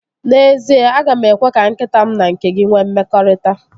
N'ezie, aga m ekwe ka nkịta m na nke gị nwee mmekọrịta